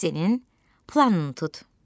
Esse-nin planını tut.